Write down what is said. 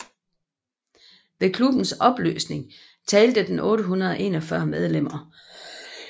Ved klubbens opløsning talte den 841 medlemmer